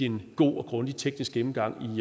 en god og grundig teknisk gennemgang